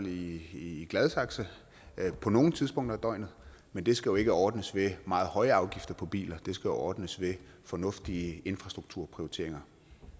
i gladsaxe på nogle tidspunkter af døgnet men det skal jo ikke ordnes ved meget høje afgifter på biler det skal ordnes ved fornuftige infrastrukturprioriteringer